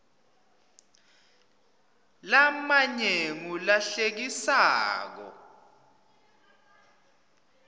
lamanye ngula hlekisako